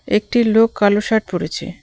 একটি লোক কালো শার্ট পড়েছে.